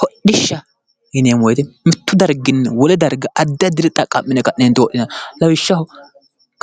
hodhishaho yineemmo woyite mittu darginni wole darga addi addire xaqqa'mine hodhinayi lawishshaho